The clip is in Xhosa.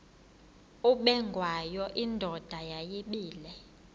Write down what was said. ubengwayo indoda yayibile